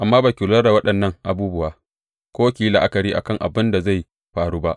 Amma ba ki lura da waɗannan abubuwa ko ki yi la’akari a kan abin da zai faru ba.